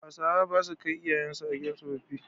Hausawa basu kai iyayen su a gidan tsofaffi.